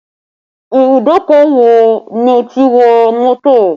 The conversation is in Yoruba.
Ìbùdókọ̀ wo ni o ti wọ mọ́tò